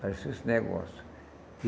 Apareceu esse negócio.